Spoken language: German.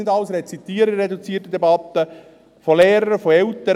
Ich will das in einer reduzierten Debatte nicht alles rezitieren.